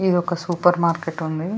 ఇది ఒక supermarket ఉంది.